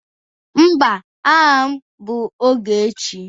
Mba, aha m bụ Ogechi